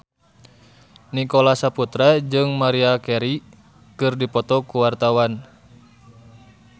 Nicholas Saputra jeung Maria Carey keur dipoto ku wartawan